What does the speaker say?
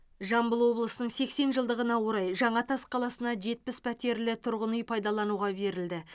жамбыл облысының сексен жылдығына орай жаңатас қаласына жетпіс пәтерлі тұрғын үй пайдалануға берілді